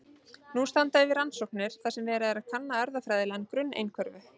Nú standa yfir rannsóknir þar sem verið er að kanna erfðafræðilegan grunn einhverfu.